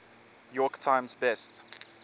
york times best